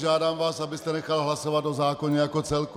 Žádám vás, abyste nechal hlasovat o zákoně jako celku.